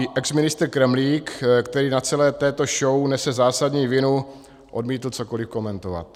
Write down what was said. I exministr Kremlík, který na celé této show nese zásadní vinu, odmítl cokoliv komentovat.